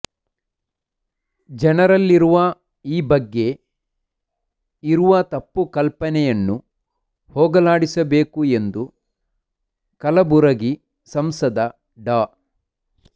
ಜನರಲ್ಲಿರುವ ಈ ಬಗ್ಗೆ ಇರುವ ತಪ್ಪುಕಲ್ಪನೆಯನ್ನು ಹೋಗಲಾಡಿಸಬೇಕು ಎಂದು ಕಲಬುರಗಿ ಸಂಸದ ಡಾ